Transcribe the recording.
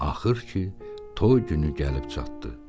Axır ki, toy günü gəlib çatdı.